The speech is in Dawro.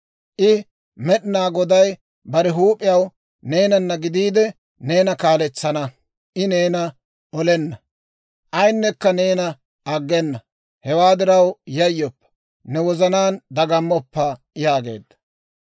I Med'inaa Goday bare huup'iyaw neenana gidiide neena kaaletsana. I neena olenna; ayinekka neena aggena. Hewaa diraw, yayyoppa; ne wozanaan dagammoppa» yaageedda.